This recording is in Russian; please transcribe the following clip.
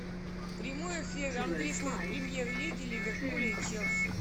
прямой эфир английской премьер лиги ливерпуля и челси